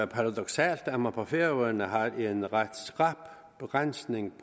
paradoksalt at man på færøerne har en ret skrap begrænsning